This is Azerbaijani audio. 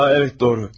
A, əvət, doğru.